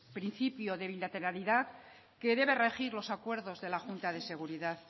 principio de bilateralidad que debe regir los acuerdos de la junta de seguridad